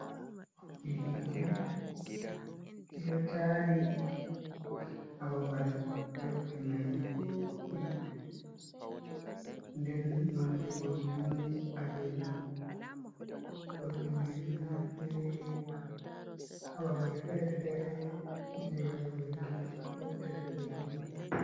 Ɓoggol hite ɗido tari hababal. Ɓoggi mai dedudi den nonde boggi mai balejon boggi maide do naftiri hababal fere-fere je wadugo hite bodes bo hite.